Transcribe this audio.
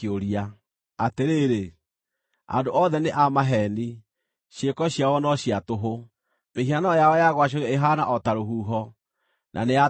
Atĩrĩrĩ, andũ othe nĩ a maheeni! Ciĩko ciao no cia tũhũ; mĩhianano yao ya gwacũhio ĩhaana o ta rũhuho, na nĩ ya tũhũ mũtheri.